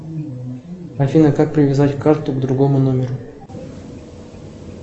афина как привязать карту к другому номеру